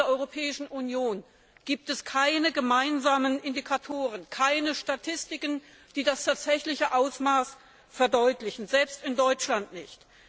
Innerhalb der Europäischen Union gibt es keine gemeinsamen Indikatoren, keine Statistiken, die das tatsächliche Ausmaß verdeutlichen, selbst in Deutschland nicht.